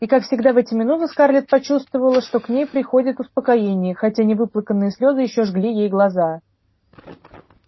и как всегда в эти минуты скарлетт почувствовала что к ней приходит успокоение хотя невыплаканные слезы ещё жгли ей глаза